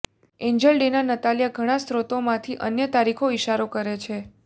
Angel Dena Natalia ઘણા સ્રોતોમાંથી અન્ય તારીખો ઇશારો કરે છે